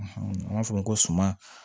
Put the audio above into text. An b'a fɔ o ma ko suma